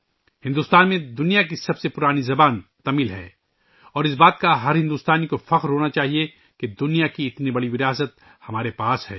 تمل بھارت میں دنیا کی قدیم ترین زبان ہے اور ہر بھارتی کو اس پر فخر ہونا چاہیئے کہ ہمارے پاس دنیا کا اتنا بڑا ورثہ ہے